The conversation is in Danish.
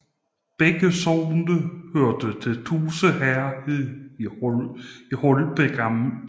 Begge sogne hørte til Tuse Herred i Holbæk Amt